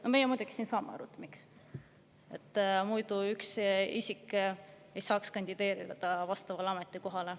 No meie muidugi siin saame aru, miks – muidu üks isik ei saaks kandideerida vastavale ametikohale.